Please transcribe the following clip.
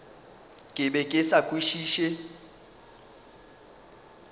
ke be ke sa kwešiše